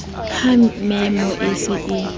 ha memo e se e